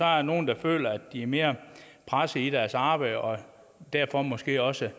er nogle der føler at de er mere pressede i deres arbejde og derfor måske også